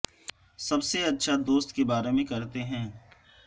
سب سے اچھا دوست کے بارے میں کرتے ہیں